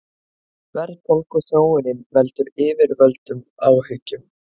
Verðbólguþróunin veldur yfirvöldum áhyggjum